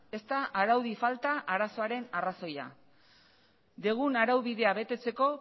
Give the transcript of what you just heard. ez da araudi falta arazoaren arrazoia dugun araubidea betetzeko